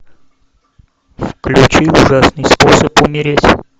включи ужасный способ умереть